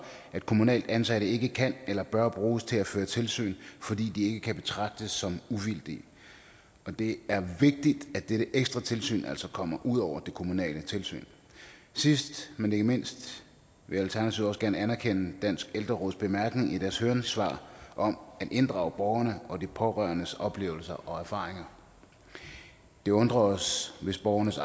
at kommunalt ansatte ikke kan eller bør bruges til at føre tilsyn fordi de ikke kan betragtes som uvildige og det er vigtigt at dette ekstra tilsyn altså kommer ud over det kommunale tilsyn sidst men ikke mindst vil alternativet også gerne anerkende danske ældreråds bemærkning i deres høringssvar om at inddrage borgernes og de pårørendes oplevelser og erfaringer det undrer os hvis borgernes